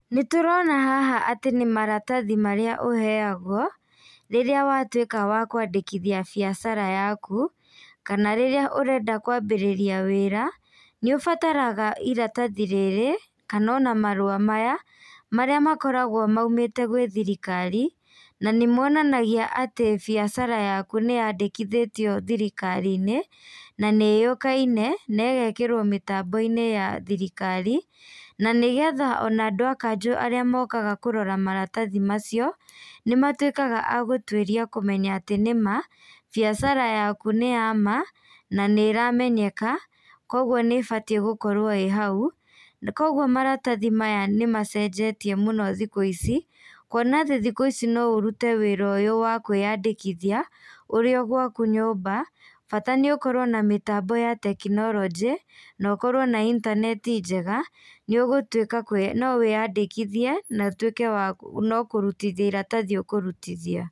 Nĩtũrona haha atĩ nĩmaratathi marĩa ũheagwo, rĩrĩa watuĩka wa kwandĩkithia biacara yaku, kana rĩrĩa ũrenda kwambĩrĩria wĩra, nĩũbataraga iratathi rĩrĩ, kana ona marũa maya, marĩa makoragwo maumĩte gwĩ thirikari, na nimonanagia atĩ biacara yaku nĩyandĩkĩthĩtio thirikarinĩ, na nĩ yũĩkaine, na ĩgekĩrwo mĩtamboinĩ ya thirikari, na nĩgetha ona andũ a kanjũ arĩa mokaga kũrora maratathi macio, nĩmatuĩkaga a gũtuĩria kũmenya atĩ nĩma, biacara yaku nĩyama, na nĩ ĩramenyeka, koguo nĩbatie gũkorwo ĩ hau, koguo maratathi maya nĩmacenjetie mũno thikũ ici, kwona atĩ thikũ ici no ũrute wĩra ũyũ wa kwĩyandĩkithia, ũrĩ o gwaku nyũmba, bata nĩ ũkorwo na mĩtambo ya tekinolojĩ, na ũkorwo na intaneti njega, nĩũgũtuĩka no wĩyandĩkithie, na ũtuĩke wa nokurithia iratathi ũkũrutithia.